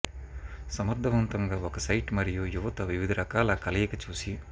సమర్థవంతంగా ఒక సైట్ మరియు యువత వివిధ రకాల కలయిక చూసి